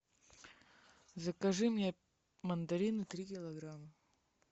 закажи мне мандарины три килограмма